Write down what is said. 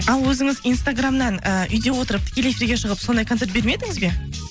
ал өзіңіз инстаграмнан і үйде отырып тікелей эфирге шығып сондай концерт бермедіңіз бе